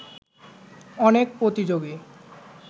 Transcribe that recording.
অনেক প্রতিযোগী